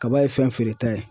Kaba ye fɛn feere ta ye